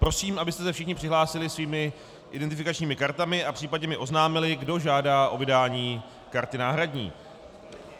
Prosím, abyste se všichni přihlásili svými identifikačními kartami a případně mi oznámili, kdo žádá o vydání karty náhradní.